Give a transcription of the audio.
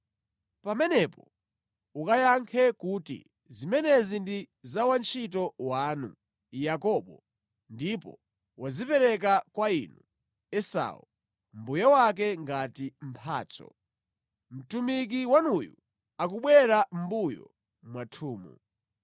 Pamenepo ukayankhe kuti, ‘Zimenezi ndi za wantchito wanu, Yakobo, ndipo wazipereka kwa inu, Esau, mbuye wake ngati mphatso. Mtumiki wanuyu akubwera mʼmbuyo mwathumu.’ ”